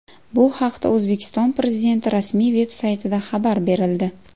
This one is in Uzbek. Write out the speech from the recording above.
Bu haqda O‘zbekiston Prezidenti rasmiy veb-saytida xabar berildi.